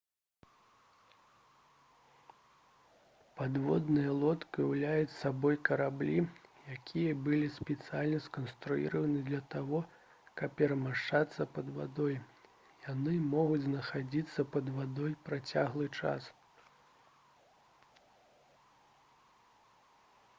падводныя лодкі ўяўляюць сабой караблі якія былі спецыяльна сканструяваны для таго каб перамяшчацца пад вадой яны могуць знаходзіцца пад вадой працяглы час